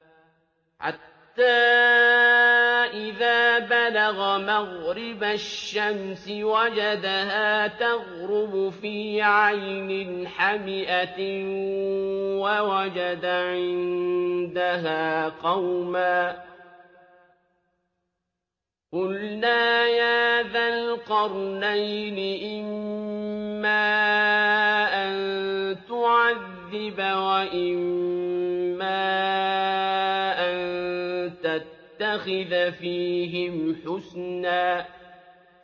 حَتَّىٰ إِذَا بَلَغَ مَغْرِبَ الشَّمْسِ وَجَدَهَا تَغْرُبُ فِي عَيْنٍ حَمِئَةٍ وَوَجَدَ عِندَهَا قَوْمًا ۗ قُلْنَا يَا ذَا الْقَرْنَيْنِ إِمَّا أَن تُعَذِّبَ وَإِمَّا أَن تَتَّخِذَ فِيهِمْ حُسْنًا